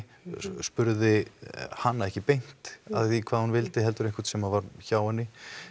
spurði hana ekki beint að því hvað hún vildi heldur einhvern sem var hjá henni